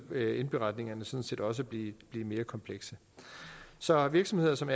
ville indberetningerne sådan set også blive mere komplekse så virksomheder som